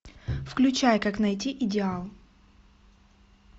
включай как найти идеал